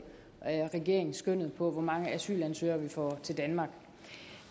regeringen skønnet over hvor mange asylansøgere vi får til danmark